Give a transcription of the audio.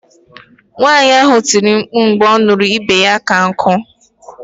Nwaanyi ahụ tiri mkpu mgbe ọ nụrụ na ibu ya ka nku